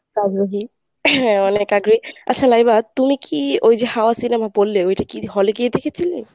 আগ্রহী হ্যাঁ আনেক আগ্রহী। আচ্ছা লাইবা তুমি কী ওই যে হাওয়া cinemaটা বললে ওইটা কী hall এ গিয়ে দেখেছিলে?